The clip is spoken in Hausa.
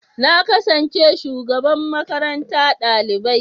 Na kasance shugaban makaranta ɗalibai.